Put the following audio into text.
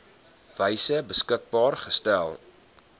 wyse beskikbaar gestel